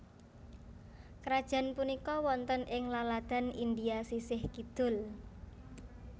Krajaan punika wonten ing laladan India sisih kidul